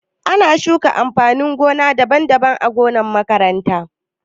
Ana shuka amfanin gona daban-daban ã gonan makaranta.